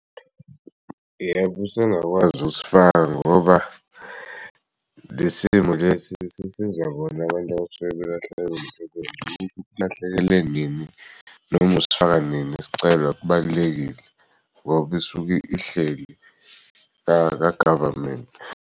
Yebo, usengakwazi ukusifaka ngoba lesimo lesi sisiza bona abantu abasuke belahlekelwe umsebenzi ukuthi ulahlekelwe nini noma usifaka nini isicelo akubalulekile ngoba isuke ihleli kagavamenti.